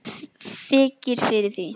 Mér þykir fyrir því.